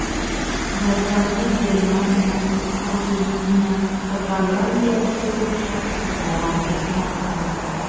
Jadvalni Germaniya, Argentina va Gollandiya uchligi boshqarishda davom etmoqda.